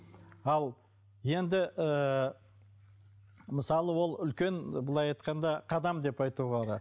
ал енді ыыы мысалы ол үлкен былай айтқанда қадам деп айтуға болады